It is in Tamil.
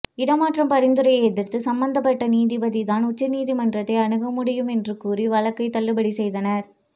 இடமாற்றம் பரிந்துரையை எதிர்த்து சம்பந்தப்பட்ட நீதிபதி தான் உச்சநீதிமன்றத்தை அணுக முடியும் என்று கூறி வழக்கை தள்ளுபடி செய்தனர்